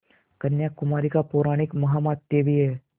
कन्याकुमारी का पौराणिक माहात्म्य भी है